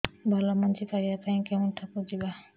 ଭଲ ମଞ୍ଜି ପାଇବା ପାଇଁ କେଉଁଠାକୁ ଯିବା